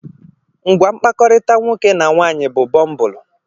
Ngwa mkpakọrịta nwoke na nwaanyị bụ Bumbulu.